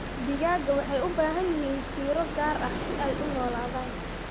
Digaagga waxay u baahan yihiin fiiro gaar ah si ay u noolaadaan.